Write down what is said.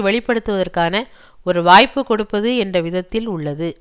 வெளிப்படுத்துவதற்கான ஒரு வாய்ப்புகொடுப்பது என்ற விதத்தில் உள்ளது